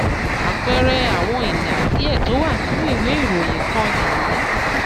àpẹẹrẹ àwọn ìlà díẹ tó wà nínú ìwé ìròyìn kan nìyí.